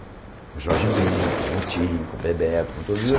Com Jorge Ben, com o Tim, com o Bebeto, com todo